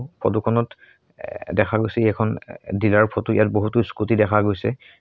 ফটোখনত এ দেখা গৈছে এখন এ ডিলাৰৰ ফটো ইয়াত বহুতো স্কুটি দেখা গৈছে।